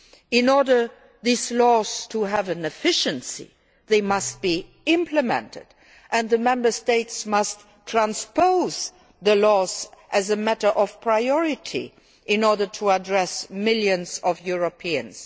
In order for these laws to be effective they must be implemented, and the Member States must transpose the laws as a matter of priority in order to benefit millions of Europeans.